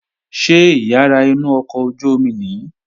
Ṣé ìyàrá inú ọkọ̀ ojú-omi nìí?